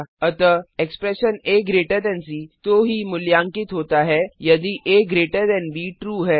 अतः expression AC तो ही का मूल्यांकित होता है यदि एबी ट्रू है